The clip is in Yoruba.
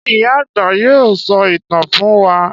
Ṣé ìyá-àgbà yóò sọ ìtàn fún wa?